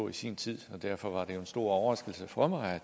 i sin tid og derfor var det jo en stor overraskelse for mig